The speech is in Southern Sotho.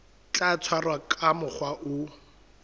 tla tshwarwa ka mokgwa o